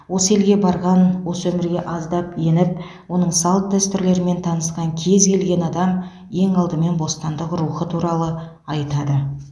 осы елге барған осы өмірге аздап еніп оның салт дәстүрлерімен танысқан кез келген адам ең алдымен бостандық рухы туралы айтады